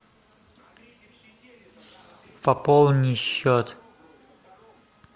пополни счет